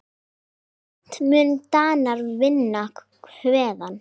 Seint munu Danir vinna Hveðn.